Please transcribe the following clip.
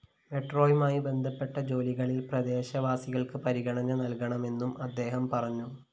മെട്രോയുമായി ബന്ധപ്പെട്ട ജോലികളില്‍ പ്രദേശവാസികള്‍ക്ക് പരിഗണന നല്‍കണമെന്നും അദ്ദേഹം പറഞ്ഞു